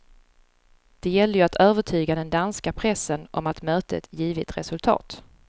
Det gällde ju att övertyga den danska pressen om att mötet givit resultat.